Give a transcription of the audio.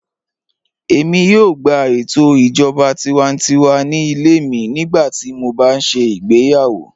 Èmi yóò gbà ètò ìjọba tìwántíwà ní ilẹ̀ mi nígbàtí mó bá ṣé igbèyàwó